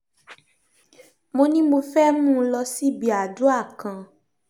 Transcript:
mo ní mo fẹ́ẹ̀ mú un lọ síbi àdúa kan